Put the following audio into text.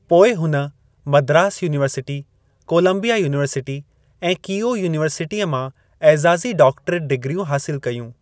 पोइ हुन Madras university, Columbia university ऐं कीओ यूनिवर्सिटीअ मां एज़ाज़ी डॉक्टरेट डिग्रियूं हासिल कयूं।